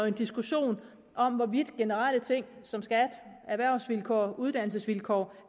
en diskussion om hvorvidt generelle ting som skat erhvervsvilkår og uddannelsesvilkår